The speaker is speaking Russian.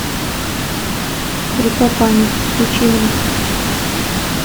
река памяти включи мне